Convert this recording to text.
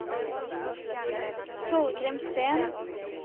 Torgrim Steen